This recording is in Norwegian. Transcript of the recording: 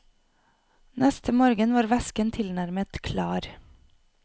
Neste morgen var væsken tilnærmet klar.